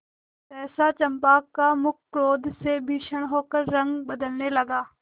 सहसा चंपा का मुख क्रोध से भीषण होकर रंग बदलने लगा